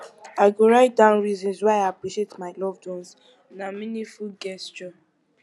i go write down reasons why i appreciate my loved ones na meaningful gesture